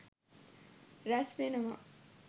රැස් වෙනවා.